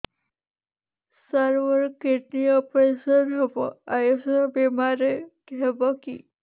ସାର ମୋର kidney operation ହେବ ଆୟୁଷ ବିମାରେ ହେବ କି